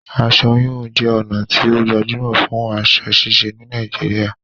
Aṣọ híhun jé ònà tí o gbajúmò fún aso ṣíse ní Naijiria